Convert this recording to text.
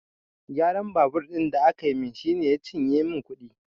Gyaran babur ɗin da aka min shi ya cinye min kuɗi